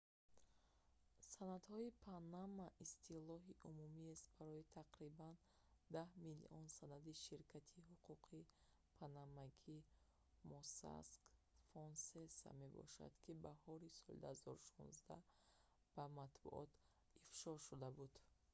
санадҳои панама истилоҳи умумиест барои тақрибан даҳ миллион санади ширкати ҳуқуқии панамагии mossack fonseca мебошад ки баҳори соли 2016 ба матбуот ифшо шуда буд